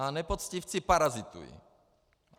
A nepoctivci parazitují.